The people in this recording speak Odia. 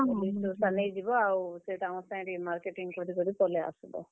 Dress ଡ୍ରୁସା ନେଇଯିବ ଆଉ ସେତାଙ୍କର ସାଙ୍ଗେ ଟିକେ marketing କରିକି ପଲେଇ ଆସ୍ ବ।